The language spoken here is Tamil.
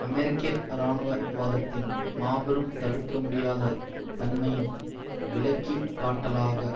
அமெரிக்க இராணுவவாதத்தின் மாபெரும் தடுக்க முடியாத தன்மையின் விளக்கிக்காட்டலாக